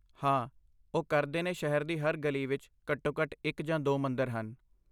ਹਾਂ ਓਹ ਕਰਦੇ ਨੇ ਸ਼ਹਿਰ ਦੀ ਹਰ ਗਲੀ ਵਿੱਚ ਘੱਟੋ ਘੱਟ ਇੱਕ ਜਾਂ ਦੋ ਮੰਦਰ ਹਨ